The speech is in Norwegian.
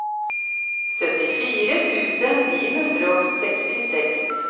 syttifire tusen ni hundre og sekstiseks